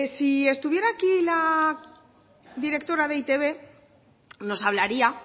si estuviera aquí la directora de e i te be nos hablaría